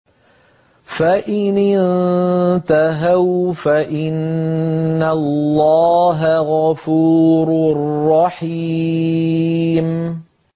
فَإِنِ انتَهَوْا فَإِنَّ اللَّهَ غَفُورٌ رَّحِيمٌ